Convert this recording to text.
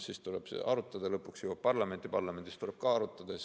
Siis tuleb seda arutada, lõpuks see jõuab parlamenti, parlamendis tuleb ka arutada.